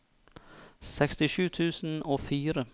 sekstisju tusen og fire